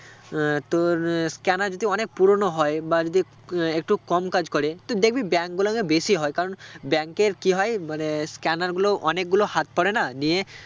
আহ তোর আহ scanner যদি অনেক পুরোনো হয় বা যদি আহ একটু কম কাজ করে তো দেখবি bank গুলো তে বেশি হয় কারণ bank র কি হয় মানে scanner গুলো অনেক গুলো হাত পরেনা নিয়ে